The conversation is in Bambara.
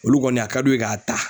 Olu kɔni a ka d'u ye k'a ta